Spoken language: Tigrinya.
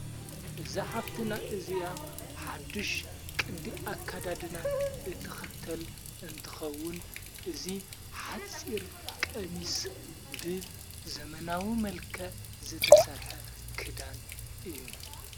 እዛ ሓፍትና እዚኣ ሓድሽ ቅዲ ኣካዳድና እትኽተል እንትኸውን እዙይ ሓፂር ቀሚስ ብ ዘመናዊ መልከ ዝተሠርሐ ክዳን እዩ::